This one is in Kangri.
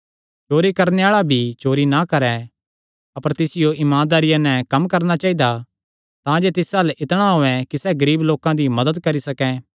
चोरी करणे आल़ा भिरी चोरी ना करैं अपर तिसियो इमानदारिया नैं कम्म करणा चाइदा तांजे तिस अल्ल इतणा होयैं कि सैह़ गरीब लोकां दी भी मदत करी सकैं